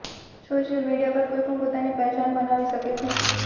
social media પર કોઈ પણ પોતાની પહેચાન બનાવી શકે છે